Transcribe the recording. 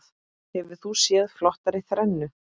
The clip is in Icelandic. Hefur þú séð flottari þrennu?